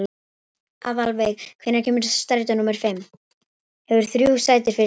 Aðalveig, hvenær kemur strætó númer fimm?